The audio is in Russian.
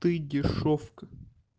ты дешёвка